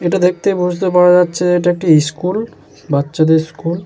এটা দেখতে বুঝতে পারা যাচ্ছে যে এটা একটি ইস্কুল বাচ্চাদের ইস্কুল ।